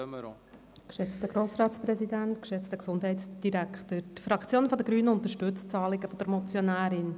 Die Fraktion der Grünen unterstützt das Anliegen der Motionärin.